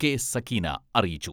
കെ.സക്കീന അറിയിച്ചു.